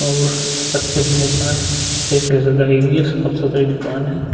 और अच्छे की दुकान अच्छे से सजाइ हुई है। साफ-सुथरी दुकान है।